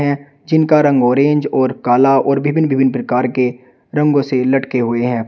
जिन का रंग ऑरेंज और काला और विभिन्न विभिन्न प्रकार के रंगों से लटके हुए हैं।